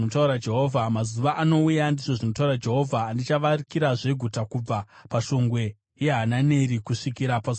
“Mazuva anouya,” ndizvo zvinotaura Jehovha, “andichavakirazve guta kubva paShongwe yeHananeri kusvikira paSuo reKona.